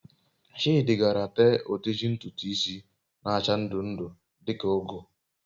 Chidi gaara tee oteji ntutu isi n'acha ndu ndu, di ka ugu